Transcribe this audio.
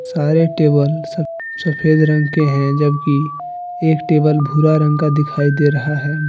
सारे टेबल सफ सफ़ेद रंग के हैं जबकि एक टेबल भूरा रंग का दिखाई दे रहा है।